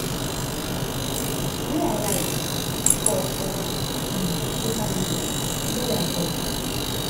wey im write for for um social media" di lawyer tok.